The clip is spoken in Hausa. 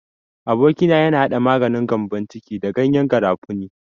Aboki na yana hada maganin gyambon ciki da gyanyen garafuni.